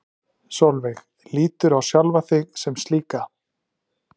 Sólveig: Líturðu á sjálfa þig sem slíka?